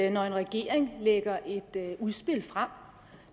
en regering lægger et udspil frem